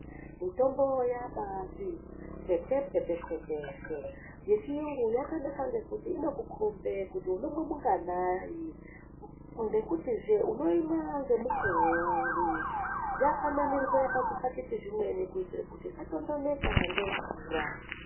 Mitombo yabati pwepwe peshe peshe yechiyungu yakanaka ngekuti inokukombe kuti unomwe mungananai ngekutizve unoimwa ngemukuwo uri yakanamirwe pazvipakiti zvemweni kuti isatondondoke ngemvura.